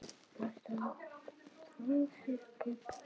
Ertu frá þér, pabbi minn?